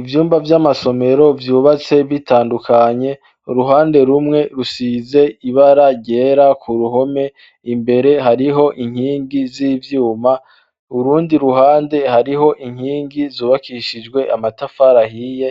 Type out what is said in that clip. Ivyumba vy'amasomero vyubatse bitandukanye uruhande rumwe rusize ibara ryera ku ruhome imbere hariho inkingi z'ivyuma urundi ruhande hariho inkingi zubakishijwe amatafari ahiye